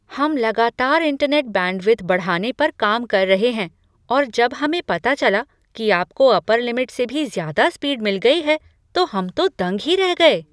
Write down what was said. हम लगातार internet bandwidth बढ़ाने पर काम कर रहे हैं और जब हमें पता चला कि आपको अपर लिमिट से भी ज़्यादा स्पीड मिल गई है, तो हम तो दंग ही रह गए।